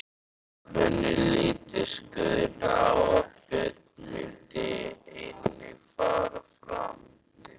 Hvernig litist Guðna á að Björn myndi einnig fara fram?